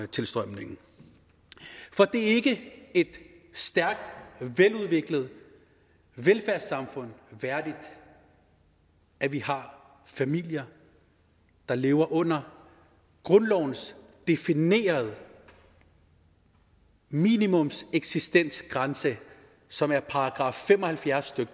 tilstrømningen for det er ikke et stærkt veludviklet velfærdssamfund værdigt at vi har familier der lever under grundlovens definerede minimumseksistensgrænse som er § fem og halvfjerds